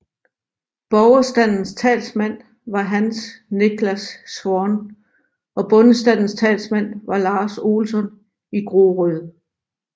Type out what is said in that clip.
Borgerstandens talsmand var Hans Niklas Schwan og bondestandens talsmand var Lars Olsson i Groröd